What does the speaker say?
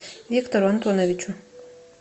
виктору антоновичу